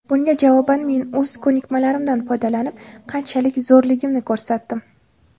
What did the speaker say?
Bunga javoban men o‘z ko‘nikmalarimdan foydalanib, qanchalik zo‘rligimni ko‘rsatdim.